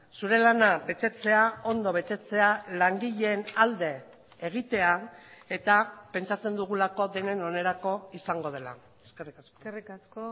zure lana betetzea ondo betetzea langileen alde egitea eta pentsatzen dugulako denen onerako izango dela eskerrik asko eskerrik asko